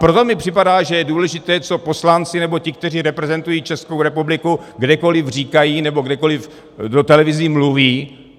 Proto mi připadá, že je důležité, co poslanci, nebo ti, kteří reprezentují Českou republiku, kdekoliv říkají nebo kdekoliv do televize mluví.